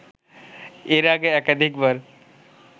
এর আগে একাধিকবার